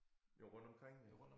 Jo rundtomkring jo